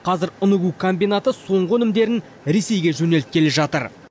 қазір ұн үгу комбинаты соңғы өнімдерін ресейге жөнелткелі жатыр